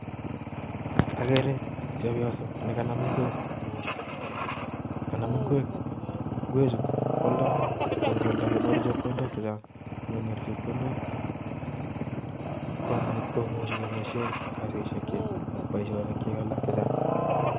Agereee chepyoso nikanam. ngweek kanam. ngweek ngweechu kwaladi konngwalda konyor chepkondok chechang akwai poishonik Chechang